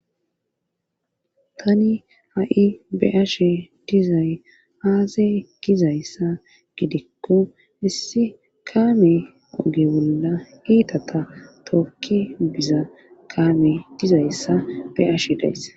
Tani ha7i be ashe dizay aazay ekkizayssa gidikko issi kaame oge bolla iita ta tokki biza kaame dizayssa beashe dayss.